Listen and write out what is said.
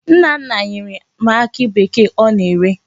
Nna nna nyere m akị bekee ọ na-ere.